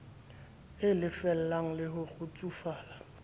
e lelefalang le ho kgutsufala